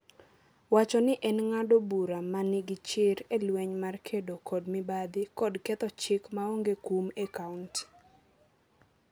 wacho ni en ng’ado bura ma nigi chir e lweny mar kedo kod mibadhi kod ketho chik maonge kum e Kaonti.